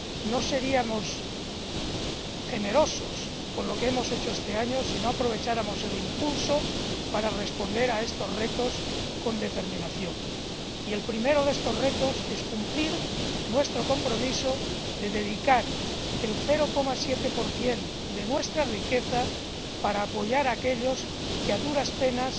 No seríamos generosos con lo que hemos hecho este año si no aprovecháramos el impulso para responder a estos retos con determinación y el primero de estos retos es cumplir nuestro compromiso de dedicar el 0,7 de nuestra riqueza a apoyar a aquellos que a duras penas